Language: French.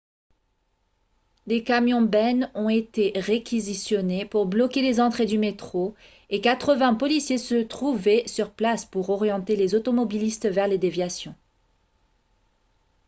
des camions-bennes ont été réquisitionnés pour bloquer les entrées du métro et 80 policiers se trouvaient sur place pour orienter les automobilistes vers les déviations